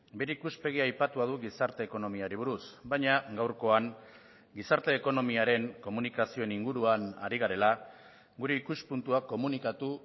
bere ikuspegia aipatua du gizarte ekonomiari buruz baina gaurkoan gizarte ekonomiaren komunikazioen inguruan ari garela gure ikuspuntua komunikatu